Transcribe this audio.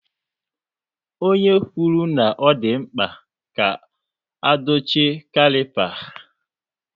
Onye kwuru na ọ dị mkpa ka a dochie caliper